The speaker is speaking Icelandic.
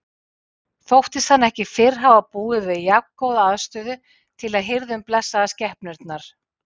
Þóttist hann ekki fyrr hafa búið við jafngóða aðstöðu til að hirða um blessaðar skepnurnar.